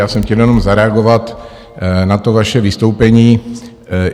Já jsem chtěl jenom zareagovat na to vaše vystoupení.